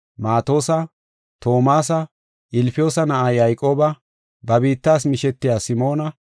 Maatosa, Toomasa, Ilfiyoosa na7aa Yayqooba, ba biittas mishetiya Simoona,